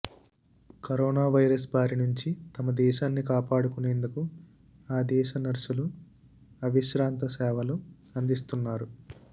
corona virus బారి నుంచి తమ దేశాన్ని కాపాడుకునేందుకు ఆ దేశ నర్సులు అవిశ్రాంత సేవలు అందిస్తున్నారు